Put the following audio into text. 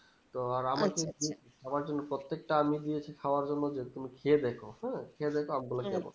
তো সবার জন্য প্রত্যেকটা আম ই দিয়েছি খাবার জন্য তো তুমি খেয়ে দেখো হুম খেয়ে দেখো আম গুলো কেমন